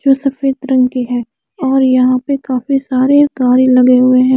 जो सफ़ेद रंग के है और यहाँ पे काफी सारे तारे लगे हुए है।